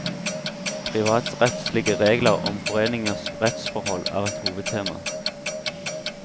Privatrettslige regler om foreningers rettsforhold er et hovedtema.